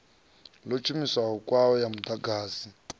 ḽa tshumiso kwayo ya muḓagasi